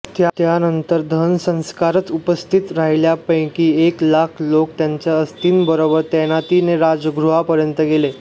त्यानंतर दहनसंस्कारास उपस्थित राहिलेल्यापैंकी एक लाख लोक त्यांच्या अस्थींबरोबर तैनातीने राजगृहापर्यंत गेले